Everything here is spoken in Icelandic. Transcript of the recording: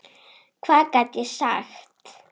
Hvað gat ég sagt?